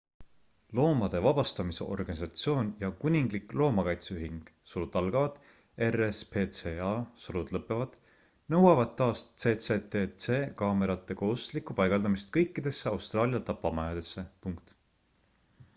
loomade vabastamise organisatsioon ja kuninglik loomakaitseühing rspca nõuavad taas cctc kaamerate kohustuslikku paigaldamist kõikidesse austraalia tapamajadesse